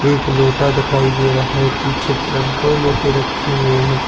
एक लोटा दिखाई दे रहा है पीछे तरफ दो लोटे रखे हुए हैं।